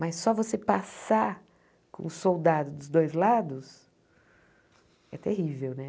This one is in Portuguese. Mas só você passar com um soldado dos dois lados é terrível, né?